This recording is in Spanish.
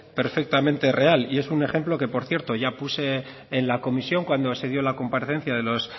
perfectamente real y es un ejemplo que por cierto ya puse en la comisión cuando se dio la comparecencia de los